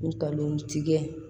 Ngalon tigɛ